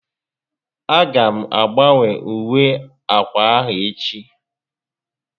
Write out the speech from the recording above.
A ga m agbanwe uwe ákwà a echi